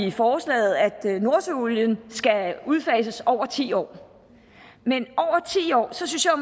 i forslaget at nordsøolien skal udfases over ti år men så synes jeg